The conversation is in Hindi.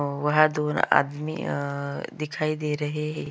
अ वह दो आदमी आ दिखाई दे रहे है।